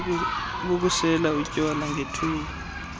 bokusela utywala ngethuba